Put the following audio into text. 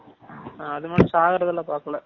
அதுமாதிரி சாகுறது எல்லாம் பாக்கல